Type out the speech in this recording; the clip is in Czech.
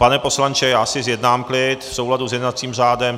Pane poslanče, já si zjednám klid v souladu s jednacím řádem.